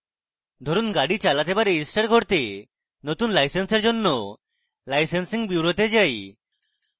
ধরুন গাড়ি চালাতে বা register করতে নতুন license এর জন্য licensing bureau তে যাই